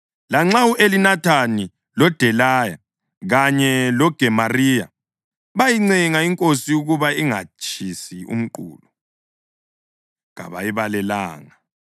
Lanxa u-Elinathani loDelaya kanye loGemariya bayincenga inkosi ukuba ingatshisi umqulu, kayibalalelanga.